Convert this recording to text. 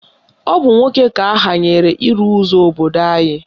Ọ bụ nwoke ka ahanyere ịrụ ụzọ obodo anyị